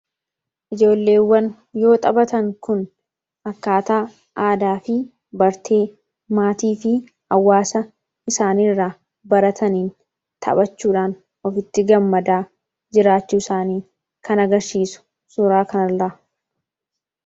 Ijoolleewwan yoo xaphatan kun akkaataa aadaa fi bartee maatii fi awwaasa isaaniiirraa barataniin taphachuudhaan ofitti gammadaa jiraachuu isaanii kanagarsiisu suuraa kanarraa.